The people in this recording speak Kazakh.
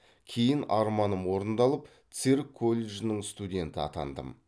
кейін арманым орындалып цирк колледжінің студенті атандым